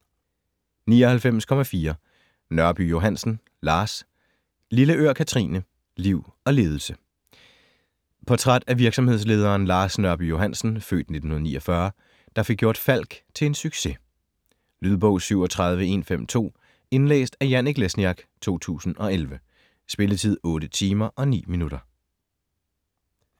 99.4 Nørby Johansen, Lars Lilleør, Kathrine: Liv og ledelse Portræt af virksomhedslederen Lars Nørby Johansen (f. 1949), der fik gjort Falck til en succes. Lydbog 37152 Indlæst af Janek Lesniak, 2011. Spilletid: 8 timer, 9 minutter.